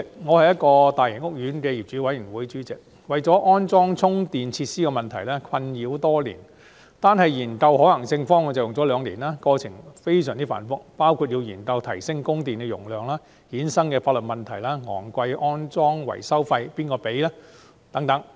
我是一個大型屋苑的業主委員會主席，為了安裝充電設施的問題而困擾多年，單是研究可行性方案已用了兩年，過程非常繁複，包括研究如何提升供電容量、由此衍生的法律問題、昂貴的安裝維修費由誰支付等。